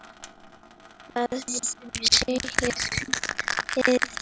Hvað segirðu við því?